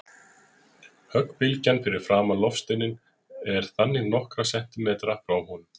Höggbylgjan fyrir framan loftsteininn er þannig nokkra sentímetra frá honum.